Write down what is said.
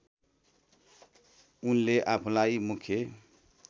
उनले आफूलाई मुख्य